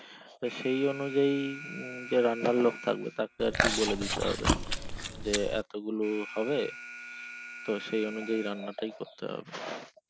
তো সেই অনুযায়ী যে রান্নার লোক থাকবে তাকে আরকি বলে দিতে হবে যে এত গুলো হবে তো সেই অনুযায়ী রান্না টাই কোর্ট হবে